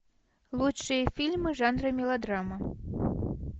лучшие фильмы в жанре мелодрама